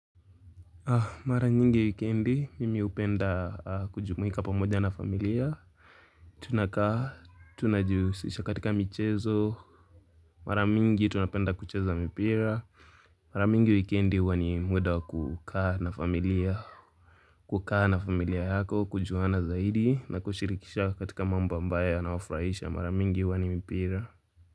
Mara nyingi wikendi mimi upenda kujumuika pamoja na familia Tunakaa tunajihusisha katika michezo Mara mingi tunapenda kucheza mipira Mara mingi wikendi huwa ni mwenda kukaa na familia kukaa na familia yako kujuana zaidi na kushirikisha katika mambo ambaye yansofurahisha mara mingi huwa ni mipira.